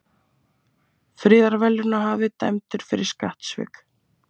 Friðarverðlaunahafi dæmdur fyrir skattsvik